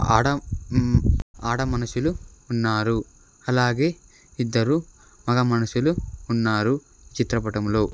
ఆడ ఉమ్మ్ ఆడ మనుషులు ఉన్నారు అలాగే ఇద్దరు మగ మనుషులు ఉన్నారు చిత్రపటంలో.